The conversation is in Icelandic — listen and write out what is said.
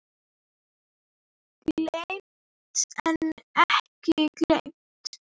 Geymt en ekki gleymt!